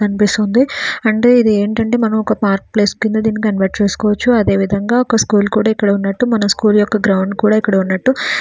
ఇక్కడ మనము చూస్తుంటే ఒక కొంత మంది పిల్లలు ఉన్నారు టీచర్స్ ఉన్నారు ఇది ఎదో ఒక చిన్న--